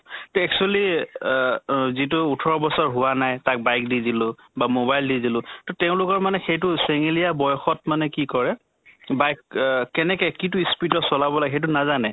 তে actually আ এ যিটো ওঠৰ বছৰ হোৱা নাই, তাক bike দি দিলো বা mobile দি দিলো । তʼ তেওঁলোকৰ মানে সেইটো চেঙেলীয়া বয়সত মানে কি কৰে bike আ কেনেকে কিতো speed ত চলাব লাগে, সেইটো নাজানে ।